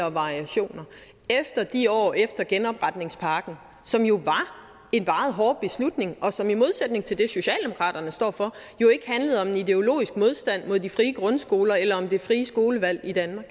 og variationer efter de år efter genopretningspakken som jo var en meget hård beslutning og som i modsætning til det socialdemokraterne står for jo ikke handlede om en ideologisk modstand mod de frie grundskoler eller om det frie skolevalg i danmark